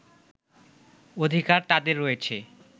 অধিকার তাদের রয়েছে